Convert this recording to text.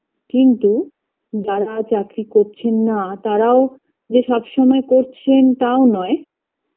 কিন্তু যারা চাকরি করছেন না তারাও যে সবসময় করছেন তাও নয়